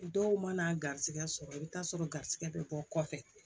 Dɔw mana garisigɛ sɔrɔ i bi taa sɔrɔ garisɛgɛ bɛ bɔ kɔfɛ